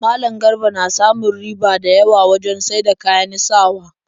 Malam Garba na samun riba da yawa wajen saida kayan sawa